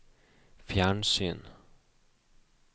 fjernsyn